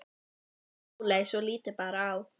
sagði Sóley svo lítið bar á.